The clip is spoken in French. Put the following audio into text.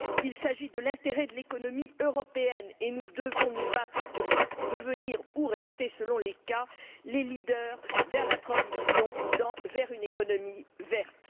Il s'agit de l'intérêt de l'économie européenne et nous devons nous battre pour devenir ou rester, selon les cas, les leaders de la transition vers une économie verte.